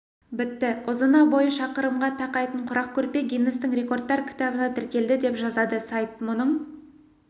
бітті ұзына бойы шақырымға тақайтын құрақ көрпе гиннестің рекордтар кітабына тіркелді деп жазады сайт мұның